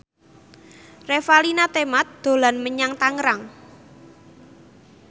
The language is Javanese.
Revalina Temat dolan menyang Tangerang